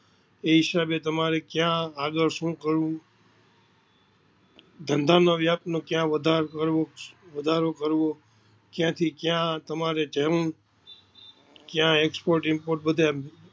એ હિસાબે તમારે કયા આગડ સુ કરવું ધંધા નો વ્યાપ નો કયા વધારો કરવો કયા થી કયા તમારે જવું કયા Export Import બધે